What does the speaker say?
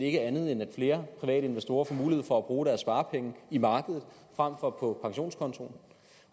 ikke andet end at flere private investorer får mulighed for at bruge deres sparepenge i markedet frem for på pensionskontoen